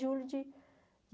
Julho de